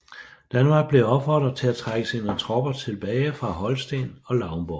Danmark blev opfordret at trække sine tropper tilbage fra Holsten og Lauenborg